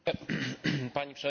Pani Przewodnicząca!